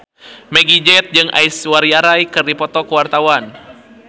Meggie Z jeung Aishwarya Rai keur dipoto ku wartawan